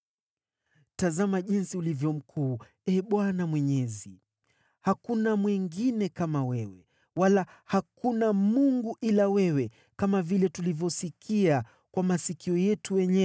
“Tazama jinsi ulivyo mkuu, Ee Bwana Mwenyezi! Hakuna mwingine kama wewe, wala hakuna Mungu ila wewe, kama vile tulivyosikia kwa masikio yetu wenyewe,